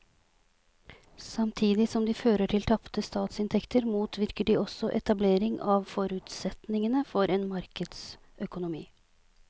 Samtidig som de fører til tapte statsinntekter motvirker de også etablering av forutsetningene for en markedsøkonomi.